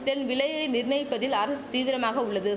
தென் விலையை நிர்ணயிப்பதில் அரசு தீவிரமாக உள்ளது